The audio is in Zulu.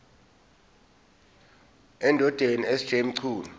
endodeni sj mchunu